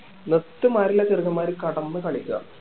മൊത്തം ഇമ്മാതിരിള്ള ചെറുക്കന്മാര് കെടന്ന് കളിക്ക